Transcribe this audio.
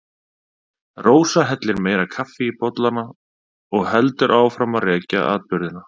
Rósa hellir meira kaffi í bollana og heldur áfram að rekja atburðina.